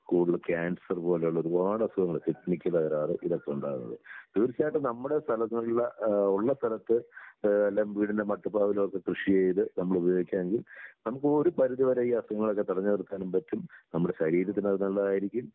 കൂടുതൽ ക്യാൻസർ പോലെയുള്ള ഒരുപാട് അസുഖങ്ങള് കിഡ്നിക്ക് തകരാറ് ഇതൊക്കെ ഉണ്ടാകുന്നത്. തീർച്ചയായിട്ടും നമ്മുടെ സ്ഥലങ്ങളിലെ ഏഹ് ഉള്ള സ്ഥലത്ത് ഏഹ് വല്ലോം വീടിന്റെ മട്ടുപ്പാവിലൊക്കെ കൃഷി ചെയ്ത് നമ്മള് ഉപയോഗിക്കാങ്കിൽ നമുക്ക് ഒരു പരിധി വരെ ഈ അസുഖങ്ങളൊക്കെ തടഞ്ഞ് നിർത്താനും പറ്റും, നമ്മുടെ ശരീരത്തിന് അത് നല്ലതായിരിക്കും